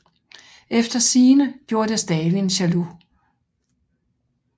Efter sigende gjorde det Stalin jaloux